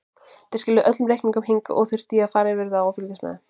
Þær skiluðu öllum reikningum hingað og þurfti ég að fara yfir þá og fylgjast með.